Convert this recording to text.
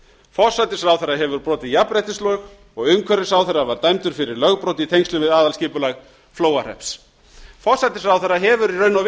forsætisráðherra hefur brotið jafnréttislög og umhverfisráðherra var dæmdur fyrir lögbrot í tengslum við aðalskipulag flóahrepps forsætisráðherra hefur í raun og